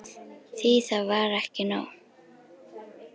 Því það er ekki nóg.